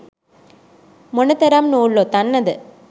මොන තරම් නූල් ඔතන්න ද?